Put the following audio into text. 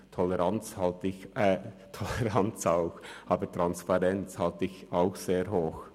Toleranz halte ich Toleranz auch, aber Transparenz halte ich zwar sehr hoch.